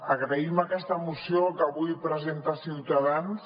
agraïm aquesta moció que avui presenta ciutadans